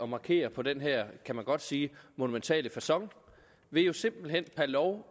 markere på den her kan man godt sige monumentale facon ved jo simpelt hen per lov